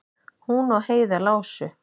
Hún og Heiða lásu